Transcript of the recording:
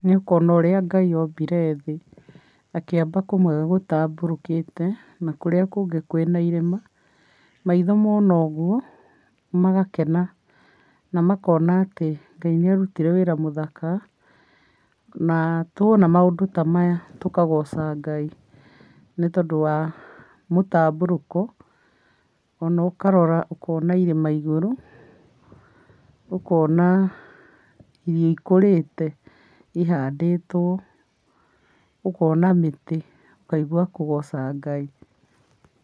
Nĩ ũkona ũrĩa Ngai ombire thĩ, akĩũmba kũmwe gũtambũrũkĩte na kũrĩa kũngĩ kwĩna irĩma, maitho mona ũguo magakena, na makona atĩ Ngai nĩ arutire wĩra mũthaka, na twona maũndũ ta maya tũkagoca Ngai nĩtondũ wa mũtambũrũko ona ũkarora ũkona irĩma igũrũ, ũkona irio ikũrĩte ihandĩtwo, ũkona mĩtĩ ũkaigwa kũgoca Ngai.